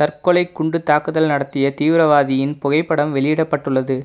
தற்கொலைக் குண்டுத் தாக்குதல் நடத்திய தீவிரவாதியின் புகைப்படம் வெளியிடப்பட்டுள்ளது